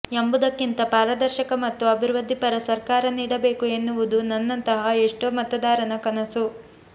ಎಂಬುದಕ್ಕಿಂತ ಪಾರದರ್ಶಕ ಮತ್ತು ಅಭಿವೃದ್ದಿ ಪರ ಸರ್ಕಾರ ನೀಡಬೇಕು ಎನ್ನುವುದು ನನ್ನಂತಹ ಎಷ್ಟೋ ಮತದಾರನ ಕನಸು